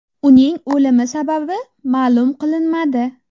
Uning o‘limi sababi ma’lum qilinmadi.